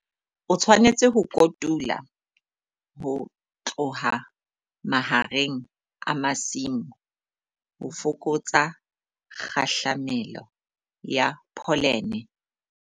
O tshwanetse ho kotula ho tloha mahareng a masimo ho fokotsa kgahlamelo ya pholene.